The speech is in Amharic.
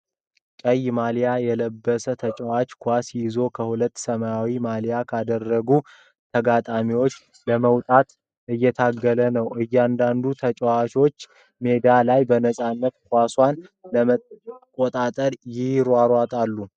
ቀይ ማሊያ የለበሰ ተጫዋች ኳስ ይዞ ከሁለት ሰማያዊ ማሊያ ካደረጉ ተጋጣሚዎች ለመውጣት እየታገለ ነው። እያንዳንዱ ተጫዋች ሜዳ ላይ በነፃነት ኳሱን ለመቆጣጠር ይሯሯጣል።